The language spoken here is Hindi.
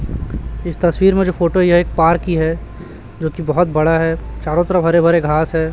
इस तस्वीर में जो फोटो यह एक पार्क की है जो की बहोत बड़ा है चारों तरफ हरे भरे घास है।